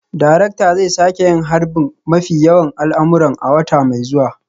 Darakta zai sake yin harbin mafi yawan al'amuran a wata mai zuwa